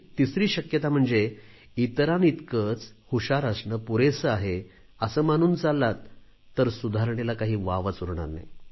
तिसरी शक्यता म्हणजे इतरांइतकेच हुशार असणे पुरेसे आहे असे मानून चाललात तर सुधारणेला काही वावच उरणार नाही